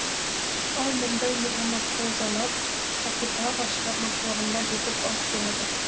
ал мұндай метаморфозалар акутагава шығармашылығында жетіп артылады